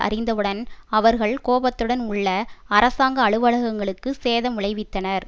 அறிந்தவுடன் அவர்கள் கோபத்துடன் உள்ள அரசாங்க அலுவலகங்களுக்கு சேதம் விளைவித்தனர்